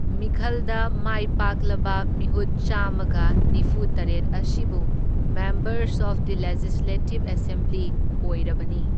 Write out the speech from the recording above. ꯃꯤꯈꯜꯗ ꯃꯥꯏ ꯄꯥꯛꯂꯕ ꯃꯤꯍꯨꯠ ꯆꯥꯝꯃꯒ ꯅꯤꯐꯨ ꯇꯔꯦꯠ ꯑꯁꯤꯕꯨ members of the legislative assembly ꯑꯣꯢꯔꯕꯅꯤ꯫